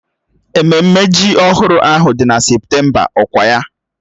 Ememme ji ọhụrụ ahụ dị na Septemba ọkwa ya?